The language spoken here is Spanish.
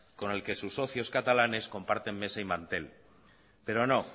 con el que sus socios catalanes comparten mesa y mantel pero no